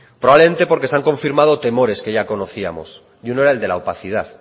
probablemente porque se han confirmado temores que ya conocíamos y uno era el de la opacidad